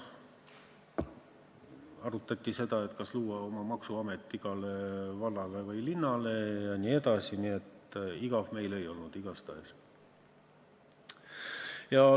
Arutati, kas luua igale vallale ja linnale oma maksuamet jne, nii et igav meil igatahes ei olnud.